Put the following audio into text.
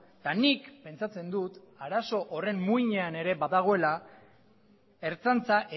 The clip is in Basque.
eta nik pentsatzen dut arazo horren muinean ere badagoela ertzaintza